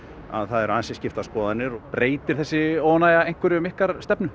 að það eru ansi skiptar skoðanir breytir þessi óánægja einhverju um ykkar stefnu